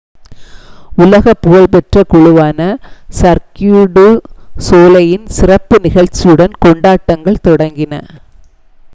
உலக புகழ்பெற்ற குழுவான சர்க்யூ டு சோலெய்லின் சிறப்பு நிகழ்ச்சியுடன் கொண்டாட்டங்கள் தொடங்கின